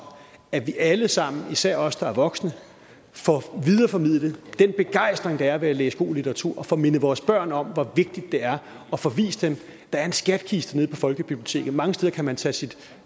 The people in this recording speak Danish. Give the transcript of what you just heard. at vi alle sammen især os der er voksne får videreformidlet den begejstring der er ved at læse god litteratur og får mindet vores børn om hvor vigtigt det er og får vist dem at der er en skattekiste nede på folkebiblioteket mange steder kan man tage sit